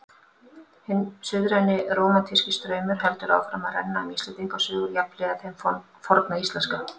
Hinn suðræni rómantíski straumur heldur áfram að renna um Íslendingasögur jafnhliða þeim forna íslenska.